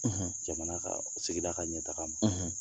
Jamana ka , sigira ka ɲɛ taga ma, .